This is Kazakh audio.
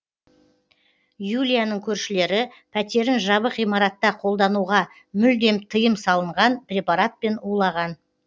юлияның көршілері пәтерін жабық ғимаратта қолдануға мүлдем тыйым салынған препаратпен улаған